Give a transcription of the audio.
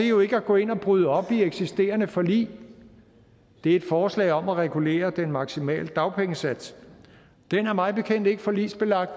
jo ikke at gå ind og bryde op i eksisterende forlig det er et forslag om at regulere den maksimale dagpengesats den er mig bekendt ikke forligsbelagt